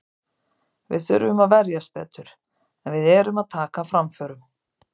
Við þurfum að verjast betur, en við erum að taka framförum.